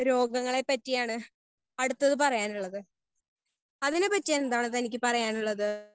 Speaker 1 രോഗങ്ങളെ പറ്റിയാണ് അടുത്തത് പറയാനുള്ളത് അതിനെ പറ്റി എന്താണ് തനിക്ക് പറയാൻ ഉള്ളത്?